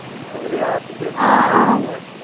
அதுலயும் aptitude solve பண்ணுவாங்க